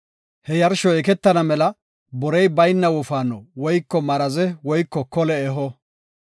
he yarshoy eketana mela borey bayna wofaano, woyko maraze woyko kole eho.